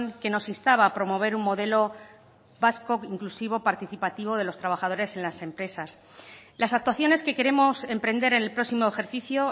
que nos instaba a promover un modelo vasco inclusivo participativo de los trabajadores en las empresas las actuaciones que queremos emprender en el próximo ejercicio